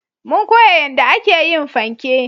Mun koya yanda a ke yin fanke